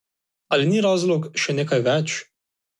Ali ni razlog še nekaj več?